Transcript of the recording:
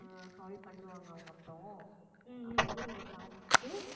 ஆஹ் call பண்ணுவாங்க அவங்க அப்புறம் அப்ப வந்து நீங்க பாத்துட்டு